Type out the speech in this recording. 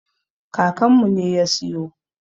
Kakanmu ne ya siyo.